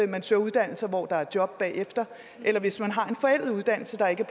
man søger uddannelser hvor der er job bagefter eller hvis man har en forældet uddannelse der ikke